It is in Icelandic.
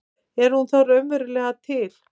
Er hún þá raunverulega til?